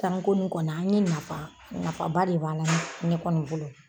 Tanko nin kɔni an ye nafa nafaba de b'a la ne kɔni bolo.